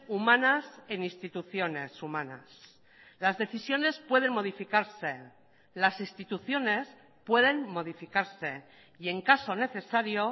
humanas en instituciones humanas las decisiones pueden modificarse las instituciones pueden modificarse y en caso necesario